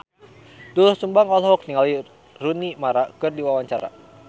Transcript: Doel Sumbang olohok ningali Rooney Mara keur diwawancara